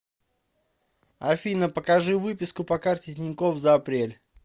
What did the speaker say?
афина покажи выписку по карте тинькофф за апрель